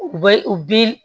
U bɛ u bi